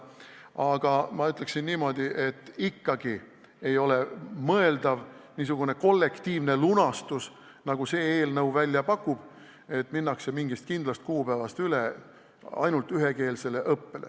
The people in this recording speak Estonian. Aga ma ütleksin niimoodi, et ei ole mõeldav niisugune kollektiivne lunastus, nagu see eelnõu välja pakub, et mingil kindlal kuupäeval minnakse üle ainult ühekeelsele õppele.